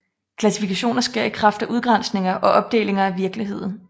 Klassifikationer sker i kraft af udgrænsninger og opdelinger af virkeligheden